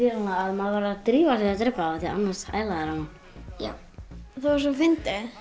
maður verður að drífa sig að drepa þá annars æla þeir á mann það var svo fyndið